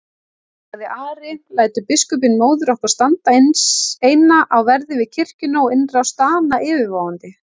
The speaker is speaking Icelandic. sagði Ari,-lætur biskupinn móður okkar standa eina á verði við kirkjuna og innrás Dana yfirvofandi?